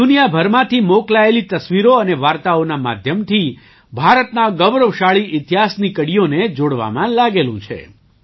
તે દુનિયાભરમાંથી મોકલાયેલી તસવીરો અને વાર્તાઓના માધ્યમથી ભારતના ગૌરવશાળી ઇતિહાસની કડીઓને જોડવામાં લાગેલું છે